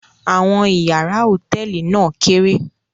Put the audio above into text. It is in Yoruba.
Àwọn ìyàrá hòtẹ́ẹ́lì náà kéré.